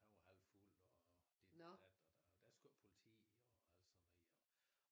Han var halvfuld og dit og dat og der skulle politi og alt sådan noget og